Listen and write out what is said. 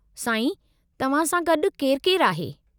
साईं, तव्हां सां गॾु केरु-केरु आहे?